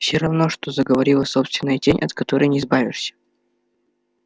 все равно что заговорила собственная тень от которой не избавишься